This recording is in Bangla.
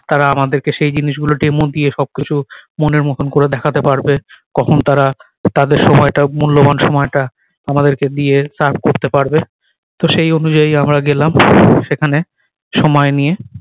তারা আমাদেরকে সেই জিনিস গুলো demo দিয়ে সব কিছু মনের মতন করে দেখাতে পারবে কখন তারা তাদের সময় টা মূল্যবান সময় টা আমাদেরকে দিয়ে তার করতে পারবে তো সেই অনুযায়ী আমরা গেলাম সেখানে সময় নিয়ে